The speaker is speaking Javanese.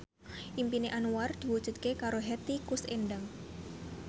impine Anwar diwujudke karo Hetty Koes Endang